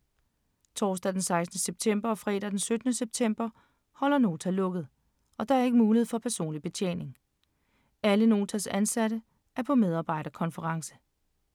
Torsdag den 16. september og fredag den 17. september holder Nota lukket, og der er ikke mulighed for personlig betjening. Alle Notas ansatte er på medarbejderkonference.